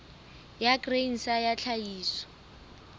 ya grain sa ya tlhahiso